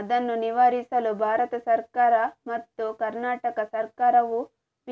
ಅದನ್ನು ನಿವಾರಿಸಲು ಭಾರತ ಸಕರ್ಾರ ಮತ್ತು ಕನರ್ಾಟಕ ಸಕರ್ಾರವು